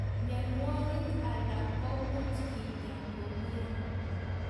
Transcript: Mionwogik alak komuch kinya komnye